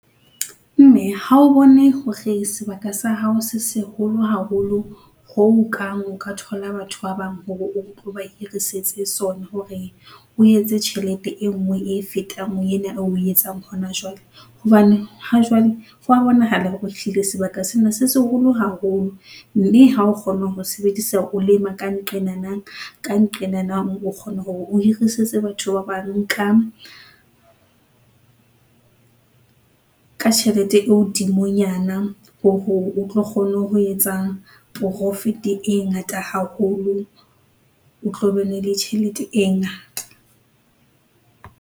Mme ha o bone hore sebaka sa hao se seholo haholo ho kang o ka thola batho ba bang hore o tlo ba hirisetse sona hore o etse tjhelete e nngwe e fetang yena eo oe etsang hona jwale, hobane ha jwale hwa bonahala hore ehlile sebaka sena se seholo haholo, mme ha o kgona ho sebedisa o lema ka nqenana ka nqenana o kgona hore o hirisetsa batho ba bang ka ka tjhelete e hodimonyana hore o tlo kgone ho etsa profit-e e ngata haholo, o tlo bene le tjhelete e ngata.